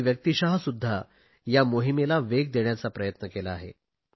मी व्यक्तिश सुध्दा या मोहिमेला वेग देण्याचा प्रयत्न केला आहे